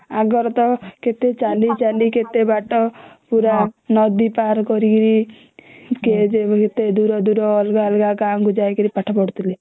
ଆଗର ତ କେତେ ଚାଲି ଚାଲି କେତେ ବାଟ ପୁରା ନଦୀ ପାର କରିକି କେ ଯେ କେତେ ଦୂର ଦୂର ଅଲଗା ଅଲଗା ଗାଁ କୁ ଯାଇକିରି ପାଠ ପଢୁଥିଲେ